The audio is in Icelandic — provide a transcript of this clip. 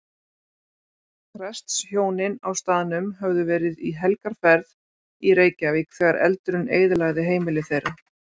Prestshjónin á staðnum höfðu verið í helgarferð í Reykjavík þegar eldurinn eyðilagði heimili þeirra.